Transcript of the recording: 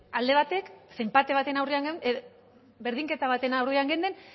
alde batek ze enpate baten aurrean geunden berdinketa baten aurrean gauden